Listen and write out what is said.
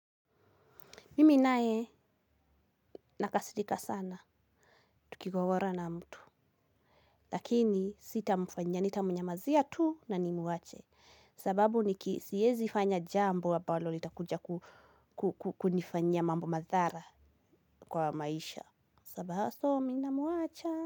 Mimi naye nakasirika sana, tukigogora na mtu. Lakini sitamfanyia nitamnyamazia tu na nimwache. Sababu sieezi fanya jambo ambalo litakuja kukunifanyia mambo madhara kwa maisha. So mimi namuacha.